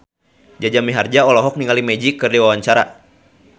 Jaja Mihardja olohok ningali Magic keur diwawancara